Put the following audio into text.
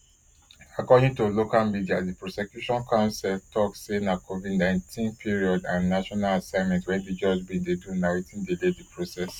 according to local media di prosecution counsel tok say covidnineteen period and national assignment wey di judge bin dey do na wetin delay di process